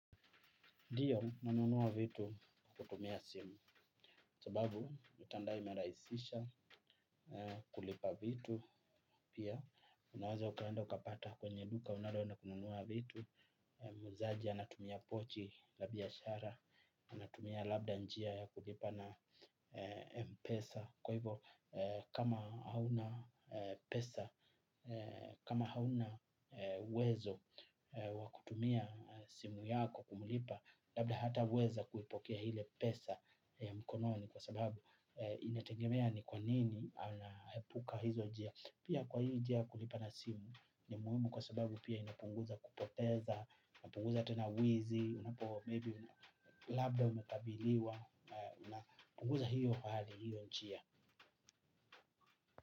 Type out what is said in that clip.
Ndiyo nanunua vitu kutumia simu, sababu mtandao imerahisisha kulipa vitu pia. Unaweza ukaenda ukapata kwenye duka unaloenda kununua vitu. Muuzaji anatumia pochi la biashara, anatumia labda njia ya kulipa na mpesa. Kwa hivo kama hauna pesa, kama hauna wezo wakutumia simu yako kumulipa, labda hata weza kuipokea hile pesa ya mkononi kwa sababu inatengemea ni kwanini anahepuka hizo jia. Pia kwa hii jia kulipa na simu ni muhimu kwa sababu pia inapunguza kupoteza, inapunguza tena wizi. Unapo maybe labda umekabiliwa, inapunguza hiyo hali hiyo njia.